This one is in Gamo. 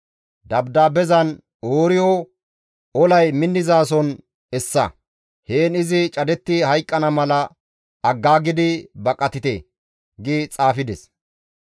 Dabdaabezan, «Ooriyo olay minnizason essa; heen izi cadetti hayqqana mala aggaagidi baqatite» gi xaafides.